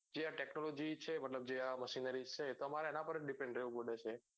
જે આ technology છે મતલબ જે આ machine છે તમારે એના પર જ depend રેવું પડે છે